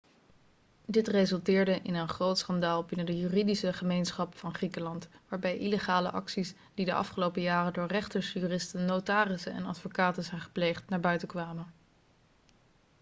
dit resulteerde in een groot schandaal binnen de juridische gemeenschap van griekenland waarbij illegale acties die de afgelopen jaren door rechters juristen notarissen en advocaten zijn gepleegd naar buiten kwamen